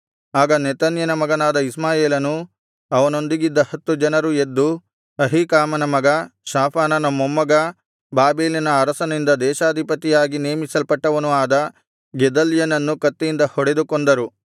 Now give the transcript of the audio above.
ಆಗ ನೆತನ್ಯನ ಮಗನಾದ ಇಷ್ಮಾಯೇಲನೂ ಅವನೊಂದಿಗಿದ್ದ ಹತ್ತು ಜನರೂ ಎದ್ದು ಅಹೀಕಾಮನ ಮಗ ಶಾಫಾನನ ಮೊಮ್ಮಗ ಬಾಬೆಲಿನ ಅರಸನಿಂದ ದೇಶಾಧಿಪತಿಯಾಗಿ ನೇಮಿಸಲ್ಪಟ್ಟವನೂ ಆದ ಗೆದಲ್ಯನನ್ನು ಕತ್ತಿಯಿಂದ ಹೊಡೆದು ಕೊಂದರು